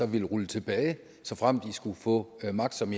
vil rulle tilbage såfremt de skulle få magt som